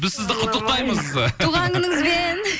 біз сізді құттықтаймыз туған күніңізбен